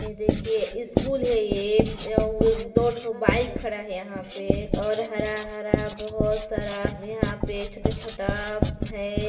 ये देखिए स्कूल है ये अउअववे दो ठो बाइक खड़ा है यहाँ पे और हरा हरा बहुत सारा यहाँ पे छोटा छोटा है।